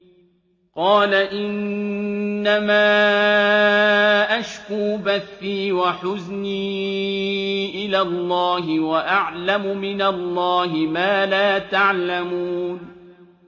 قَالَ إِنَّمَا أَشْكُو بَثِّي وَحُزْنِي إِلَى اللَّهِ وَأَعْلَمُ مِنَ اللَّهِ مَا لَا تَعْلَمُونَ